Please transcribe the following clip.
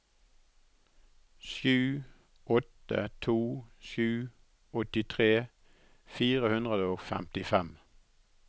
sju åtte to sju åttitre fire hundre og femtifem